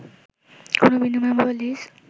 কোনো বিনিময় বা লীজ